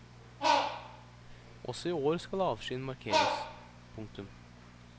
Også i år skal avskyen markeres. punktum